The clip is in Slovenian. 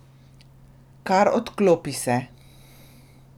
Kar odklopi se!